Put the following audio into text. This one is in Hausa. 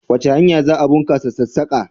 Wace hanya za a bunkasa sassaka?